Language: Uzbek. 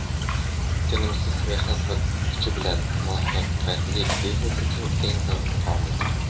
tinimsiz mehnat va kuchli bilim - muvaffaqiyatli biznes uchun eng zarur omildir.